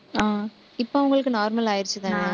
ஆஹ் இப்ப அவங்களுக்கு normal ஆயிடுச்சுதானே